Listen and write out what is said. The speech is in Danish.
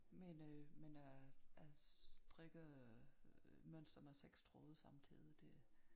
Men øh men øh at strikke mønster med 6 tråde samtidig det